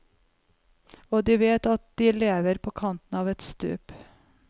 Og de vet at de lever på kanten av et stup.